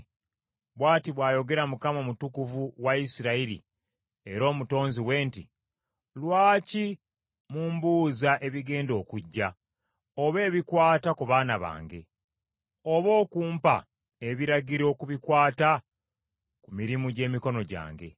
“Bw’ati bw’ayogera Mukama Omutukuvu wa Isirayiri era Omutonzi we nti, ‘Lwaki mumbuuza ebigenda okujja, oba ebikwata ku baana bange, oba okumpa ebiragiro ku bikwata ku mirimu gy’emikono gyange?’